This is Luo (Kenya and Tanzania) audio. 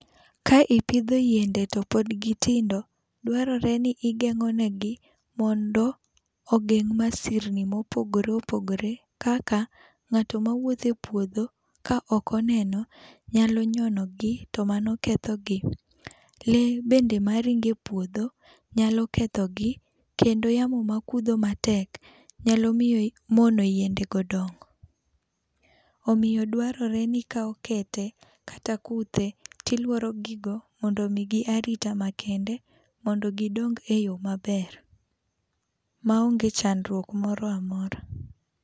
Ka ipidho yiende to pod gi tindo dwaro ni igengone gi mondo ogeng' masirni ma opogore opogore kaka ng'ato ma wuotho e puodho to ok oneno nyalo nyono gi to mano ketho gi. Lee bedne ma ringo e puodho nyalo ketho gi, kendo yamo ma kudho matek nyalo miyo muono yiende go dongo. Omiyo dwarore ni ikawe kete kata kuthe ti iluoro gi goo mondo omi gi arita makende mondo gi dong e yoo maber ma onge chandruok moro amora.